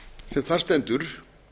sem þar stendur